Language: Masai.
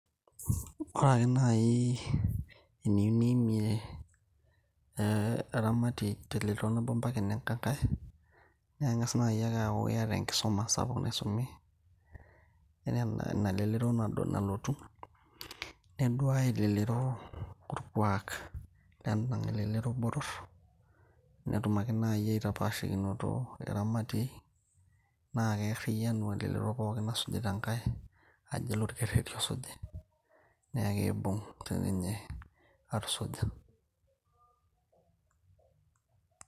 ore ake naaji eniyieu niimie eh, eramatie telelero nabo mpaka enenkae naa ing'as naaji ake aaku iyata enkisuma sapuk naisumi inalelero naaduo nalotu neduaya elelero orkuak lend'angae lelero botorr netum ake naaji aitapashikinoto iramatiei naa kearriyianu elelero pookin nasujita enkae ajo ele olkerreti osuji naa keibung sininye atusuja.